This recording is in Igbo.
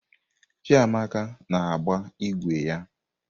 Chiamaka na-agba ígwè ya.